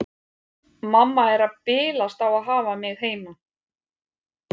Mamma er að bilast á að hafa mig heima.